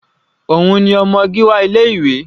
Òun ni ọmọ Gíwá ilé ìwé yìí.